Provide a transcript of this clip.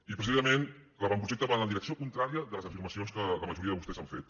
i precisament l’avantprojecte va en la direcció contrària de les afirmacions que la majoria de vostès han fet